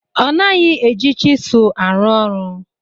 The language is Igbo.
Ọ naghị eji chisel arụ ọrụ.